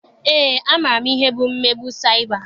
Eé, amaara m ihe bụ mmegbu saịba.